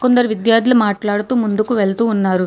కొందరు విద్యార్థులు మాట్లాడుతూ ముందుకు వెళుతున్నారు.